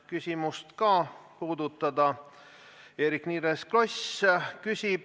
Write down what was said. Kui leht ikkagi ilmub kuuel päeval nädalas, siis kõikidel nendel päevadel peab inimene hommikul saama oma tellitud lehe kätte.